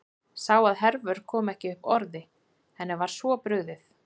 Sá að Hervör kom ekki upp orði, henni var svo brugðið.